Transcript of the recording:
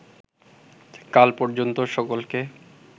কাল পর্যন্ত সকলকে